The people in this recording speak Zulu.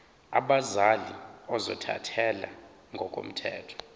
abazali ozothathele ngokomthetho